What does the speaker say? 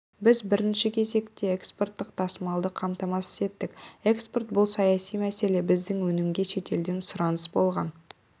біз бірінші кезекте экспорттық тасымалды қамтамасыз еттік экспорт бұл саяси мәселе біздің өнімге шетелден сұраныс болған